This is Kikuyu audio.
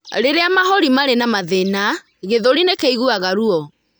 Rĩrĩa mahũri marĩ na mathĩna, gĩthũri nĩ kĩiguaga ruo.